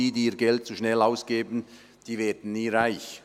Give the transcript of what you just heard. «Die, die ihr Geld zu schnell ausgeben, die werden nie reich.